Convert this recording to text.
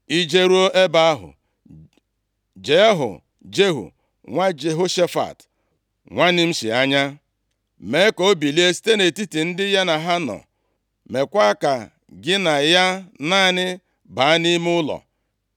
I jeruo ebe ahụ, jee hụ Jehu nwa Jehoshafat, nwa Nimshi anya. Mee ka o bilie site nʼetiti ndị ha na ya nọ. Mekwaa ka gị na ya naanị baa nʼime ụlọ.